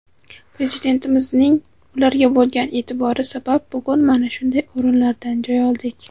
Prezidentimizning ularga bo‘lgan eʼtibori sabab bugun mana shunday o‘rinlardan joy oldik.